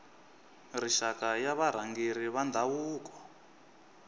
rixaka ya varhangeri va ndhavuko